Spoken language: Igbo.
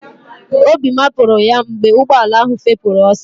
Obi mapụrụ ya mgbe ụgbọala ahụ fepụrụ ọsọ